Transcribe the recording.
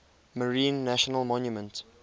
marine national monument